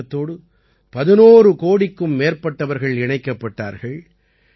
இந்த இயக்கத்தோடு 11 கோடிக்கும் மேற்பட்டவர்கள் இணைக்கப்பட்டார்கள்